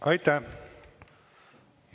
Aitäh!